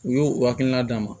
U y'u hakilina d'a ma